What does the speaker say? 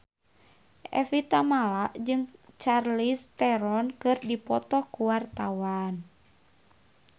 Evie Tamala jeung Charlize Theron keur dipoto ku wartawan